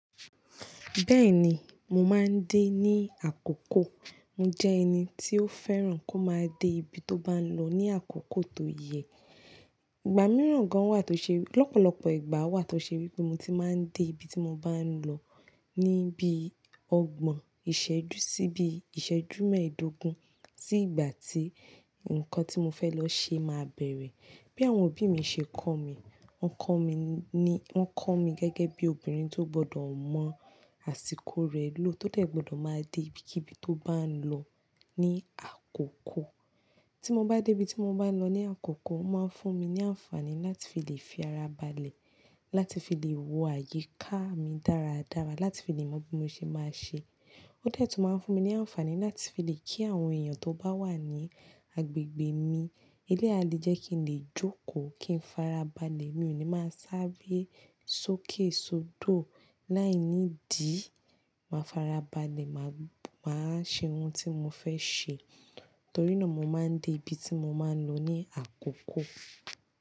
Bẹ́ẹ̀ni, mo máa ń dé ní àkókò. Mo jẹ́ ẹni tí ó fẹ́ràn kó máa dé ibi tó bá ń lọ ní àkókò tó yẹ. Ìgbà mìíràn gan wà tó ṣe, lọ́pọ̀lọpọ̀ ìgbà wà tó ṣe wí pé mo ti máa ń dé ibi tí mo bá ń lọ ní bí ọgbọ̀n ìṣẹ́jú sí bí ìṣẹ́jú mẹ́ẹ̀ẹ́dógún sí ìgbà tí nǹkan tí mo fẹ́ lọ ṣe máa bẹ̀rẹ̀. Bí àwọn òbí mi ṣe kọ́ mi, wọ́n kọ́ mi ní, wọ́n kọ́ mi gẹ́gẹ́ bí obìnrin tó gbọdọ̀ mọ àsìkò rẹ̀ lò tó dẹ̀ gbọdọ̀ máa dé ibikíbi tó bá ń lọ ní àkókò. Tí mo bá dé ibi tí mo bá ń lọ ní àkókò, ó máa ń fún mi ní àǹfààní láti fi lè fi ara balẹ̀, láti fi lè wo àyíká mi dáradára, láti fi lè mọ bí mo ṣe máa ṣe. Ó dẹ̀ tún máa ń fún mi ní àǹfààní láti fi lè kí àwọn èèyàn tó bá wà ní agbègbè mi, ilé a lè jẹ́ kí n lè jókòó, kí n fara balẹ̀, mi ò ní máa sáré sókè sódò. Láìnídìí, màá farabalẹ̀, màá, màá ṣe ohun tí mo fẹ́ ṣe. Torí náà mo máa ń dé ibi tí mo máa ń lọ ní àkókò.